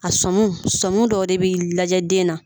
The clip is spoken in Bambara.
A sɔmiw sɔmi dɔw de bɛ lajɛ den na